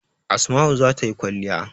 Asma'u za ta yi kwalliya.